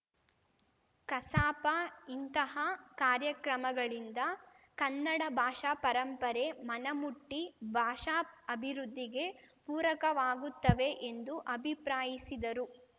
ಕಸಾಪ ಇಂತಹ ಕಾರ್ಯಕ್ರಮಗಳಿಂದ ಕನ್ನಡ ಭಾಷಾ ಪರಂಪರೆ ಮನಮುಟ್ಟಿಭಾಷಾಅಭಿವೃದ್ಧಿಗೆ ಪೂರಕವಾಗುತ್ತವೆ ಎಂದು ಅಭಿಪ್ರಾಯಿಸಿದರು